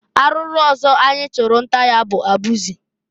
Arụụrụ ọzọ anyị chụrụ nta ya bụ abụzị.